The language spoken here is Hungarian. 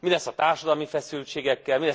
Mi lesz a társadalmi feszültségekkel?